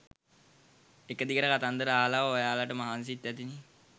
එක දිගට කතන්දර අහලා ඔයාලට මහන්සිත් ඇතිනෙ